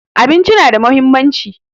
Abinci na da muhimmanci